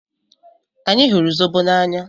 Anyị hụrụ zobo n'anya.